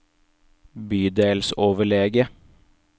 bydelsoverlege